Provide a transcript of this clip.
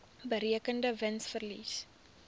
berekende wins verlies